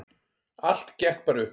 Allt gekk bara upp.